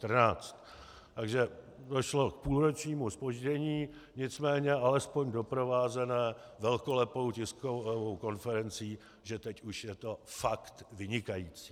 Takže došlo k půlročnímu zpoždění, nicméně alespoň doprovázenému velkolepou tiskovou konferencí, že teď už je to fakt vynikající.